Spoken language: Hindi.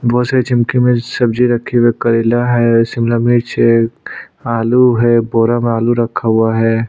बहुत सारी चिमकी में सब्जी रखी हुई है करेला है शिमला मिर्च है आलू है बोरा में आलू रखा हुआ है।